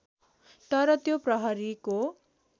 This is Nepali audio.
तर त्यो प्रहरीको